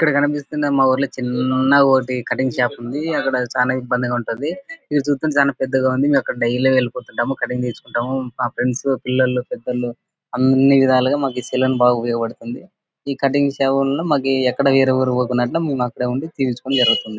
ఇక్కడ కనిపిస్తున్న మా ఊర్లో చిన్నగొకటి కటింగ్ షాప్ ఉంది. అక్కడ చానా ఇబ్బందిగుంటుంది. ఇవి చూస్తుంటే చానా పెద్దగా ఉంది. ముము అక్కడ డైలీ వెళిపోతుంటాము. కటింగ్ చేయించుకుంటాము. మా ఫ్రెండ్స్ పిల్లలు పెద్దోళ్ళు బాగా ఉపయోగపడుతుంది. ఈ కటింగ్ సేవలను మాకు ఎక్కడ వేరే ఊరు అక్కడే ఉండి తీయుంచుకోవడం జరుగుతుంది.